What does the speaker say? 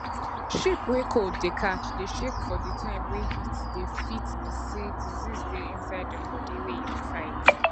sheep wey cold dey catch dey shake for di time wey heat dey fit be say disease dey inside im body wey e dey fight